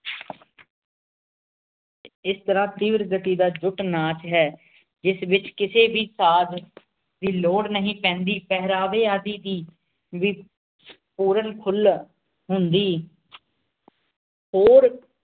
ਇਸ ਤੇਰ੍ਹਾਂ ਤੀਵਰ ਗਤੀ ਦਾ ਗੁੱਟ ਨਾਚ ਹੈਂ ਜਿਸ ਵਿਚ ਕਿਸੇ ਵੀ ਸਾਜ ਦੀ ਲੋੜ ਨਹੀਂ ਪੈਂਦੀ ਪੇਹ੍ਰਾਵ੍ਨ ਆਦਿ ਦੀ ਵੀ ਪੁਰਾਨ ਖੁਲ ਹੁੰਦੀ ਹੋਰ